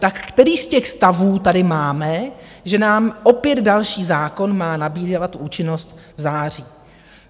Tak který z těch stavů tady máme, že nám opět další zákon má nabývat účinnosti v září?